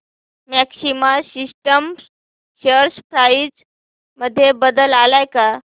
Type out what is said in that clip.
maxima systems share price मध्ये बदल आलाय का